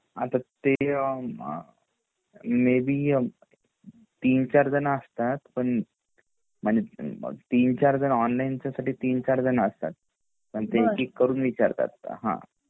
आता ते अ मे बी तीन चार जणं असतात पण म्हणजे तीन चार जणं ऑनलाइन च्या साठी तीन चार जणं असतात पण ते एक एक करून विचारतात हां